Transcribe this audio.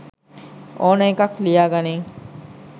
ඕන එකක් ලියාගනින්.